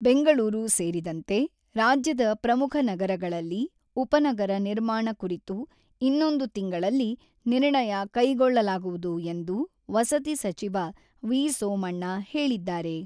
ಬೆಂಗಳೂರು ಸೇರಿದಂತೆ ರಾಜ್ಯದ ಪ್ರಮುಖ ನಗರಗಳಲ್ಲಿ ಉಪನಗರ ನಿರ್ಮಾಣ ಕುರಿತು ಇನ್ನೊಂದು ತಿಂಗಳಲ್ಲಿ ನಿರ್ಣಯ ಕೈಗೊಳ್ಳಲಾಗುವುದು ಎಂದು ವಸತಿ ಸಚಿವ ವಿ.ಸೋಮಣ್ಣ ಹೇಳಿದ್ದಾರೆ.